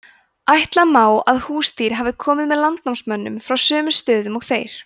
ætla má að húsdýr hafi komið með landnámsmönnum frá sömu stöðum og þeir